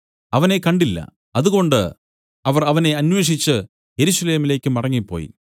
അവനെ കണ്ടില്ല അതുകൊണ്ട് അവർ അവനെ അന്വേഷിച്ചു യെരൂശലേമിലേക്കു മടങ്ങിപ്പോയി